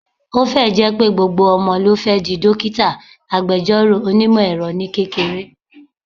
Ó fẹ́ ẹ̀ jẹ́ pé gbogbo ọmọ ló fẹ́ di, dókítà, agbẹjọ́rò, onímọ̀ - ẹ̀rọ ní kékeré